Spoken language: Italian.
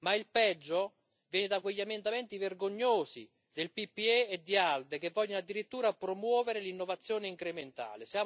Ma il peggio viene da quegli emendamenti vergognosi del PPE e di ALDE che vogliono addirittura promuovere l'innovazione incrementale.